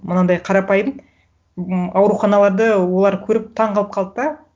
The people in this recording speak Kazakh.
мынандай қарапайым м ауруханаларды олар көріп таңқалып қалды да